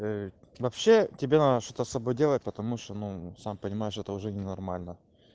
вообще тебе надо что-то с собой делать потому что ну сам понимаешь это уже ненормально